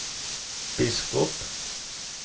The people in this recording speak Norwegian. biskop